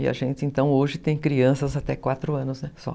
E a gente, então, hoje tem crianças até quatro anos, né, só.